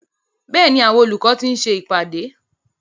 Bẹ́ẹ̀ni, àwọn olùkọ́ ti ń ṣe ìpàdé.